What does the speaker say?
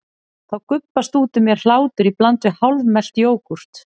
Þá gubbast út úr mér hlátur í bland við hálfmelt jógúrt.